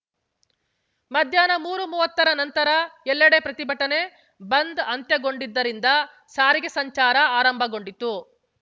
ಮಧ್ಯಾಹ್ನ ಮೂರುಮುವ್ವತ್ತರ ನಂತರ ಎಲ್ಲೆಡೆ ಪ್ರತಿಭಟನೆ ಬಂದ್‌ ಅಂತ್ಯಗೊಂಡಿದ್ದರಿಂದ ಸಾರಿಗೆ ಸಂಚಾರ ಆರಂಭಗೊಂಡಿತು